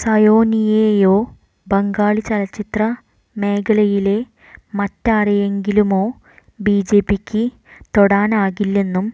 സായോനിയെയോ ബംഗാളി ചലച്ചിത്ര മേഖലയിലെ മറ്റാരെയെങ്കിലുമോ ബിജെപിക്ക് തൊടാനാകില്ലെന്നും